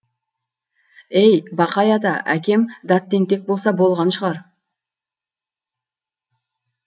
ей бақай ата әкем дат тентек болса болған шығар